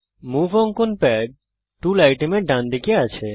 move অঙ্কন pad tool আইটেমের ডানদিকে আছে